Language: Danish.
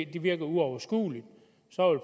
det virker uoverskueligt